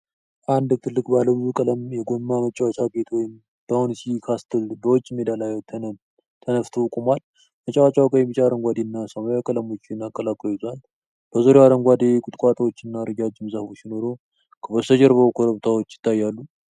አንድ ትልቅ ባለብዙ ቀለም የጎማ መጫወቻ ቤት ወይም ባውንሲ ካስትል በውጪ ሜዳ ላይ ተንፍቶ ቆሟል። መጫወቻው ቀይ፣ ቢጫ፣ አረንጓዴ እና ሰማያዊ ቀለሞችን አቀላቅሎ ይዟል። በዙሪያው አረንጓዴ ቁጥቋጦዎችና ረጃጅም ዛፎች ሲኖሩ፣ ከበስተጀርባው ኮረብታዎች ይታያሉ።